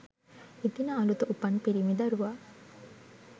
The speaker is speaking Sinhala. එදින අලුත උපන් පිරිමි දරුවා